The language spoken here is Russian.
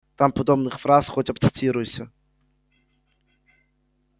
там подобных фраз хоть обцитируйся